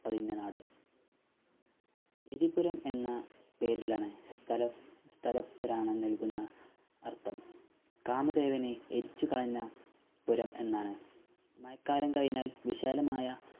പതിഞ്ഞ നാട് എരിപുരം എന്ന പേരിലാണ് തലസ്‌ സ്ഥലപുരാണം നൽകുന്ന അർഥം കാമദേവനെ എരിച്ചു കളഞ്ഞ പുരം എന്നാണ് മയക്കാലം കയിഞ്ഞാൽ വിശാലമായ